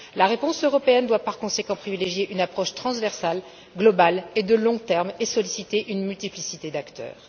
La réponse européenne doit, par conséquent, privilégier une approche transversale, globale, de long terme et solliciter une multiplicité d'acteurs.